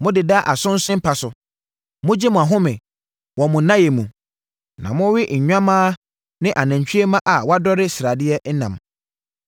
Modeda asonse mpa so mogye mo ahome wɔ mo nnaeɛ mu, na mowe nnwammaa ne anantwie mma a wɔadɔre sradeɛ nam.